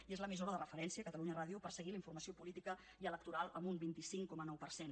i és l’emissora de referència catalunya ràdio per seguir la informació política i electoral amb un vint cinc coma nou per cent